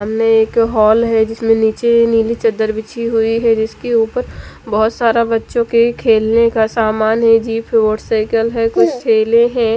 सामने एक हाल है जिसमें नीचे नीली चद्दर बिछी हुई है जिसके ऊपर बहोत सारा बच्चों के खेलने का समान है जीप है मोटरसाइकिल है कुछ ठेले हैं।